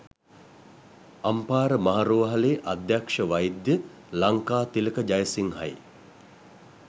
අම්පාර මහා රෝහලේ අධ්‍යක්ෂ වෛද්‍ය ලංකාතිලක ජයසිංහයි